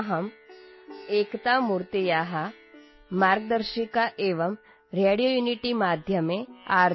ಅಹಂ ಏಕತಾಮೂರ್ತೇಃ ಮಾರ್ಗದರ್ಶಿಕಾ ಏವಂ ರೇಡಿಯೋಯುನಿಟಿಮಾಧ್ಯಮೇ ಆರ್